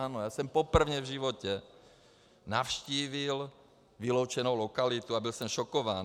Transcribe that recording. Ano, já jsem poprvé v životě navštívil vyloučenou lokalitu a byl jsem šokován.